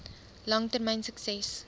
lang termyn sukses